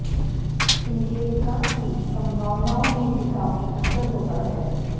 इनके विकास की संभावनाओं में भी काफी अंतर होता है